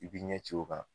I b'i ɲɛ ci o kan